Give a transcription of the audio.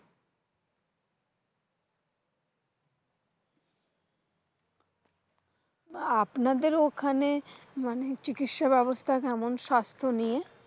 আহ আপনাদের ওখানে মানে, চিকিৎসা ব্যবস্থা কেমন স্বাস্থ্য নিয়ে?